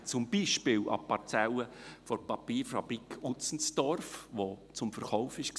Denken Sie beispielsweise an die Parzelle der Papierfabrik Utzenstorf, die zum Verkauf stand.